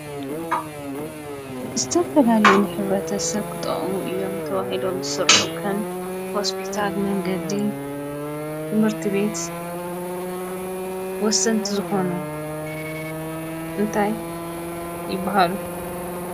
ዝተፈላለዩ ሕብረተሰብ ክጠቅሙ እዮም ተባሂሎም ዝስርሑ ከም ሆስፒታል ፣መንገዲ፣ ትምህርቲ ቤት ወሰንቲ ዝኮኑ እንታይ ይብሃሉ?